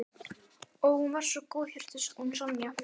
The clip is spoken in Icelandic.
Ó, hún var svo góðhjörtuð hún Sonja.